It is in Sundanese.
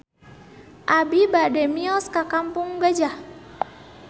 Abi bade mios ka Kampung Gajah